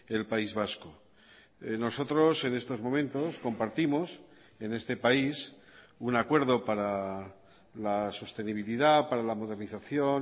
el país vasco nosotros en estos momentos compartimos en este país un acuerdo para la sostenibilidad para la modernización